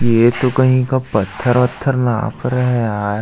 ये तो कही का पत्थर वत्थर नाप रहा है यार--